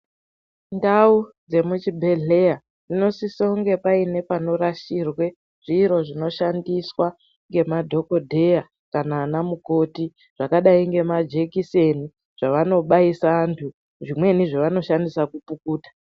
Ndau dzemuchibhedhleya dzinosisa kuti painge pane panorashirwe zviro zvinoshandiswa ngemadhokodheya, vana mukhoti zvakadai nemajekiseni zvavano baisa vantu zvimweni zvavanoshandisa kupukuta.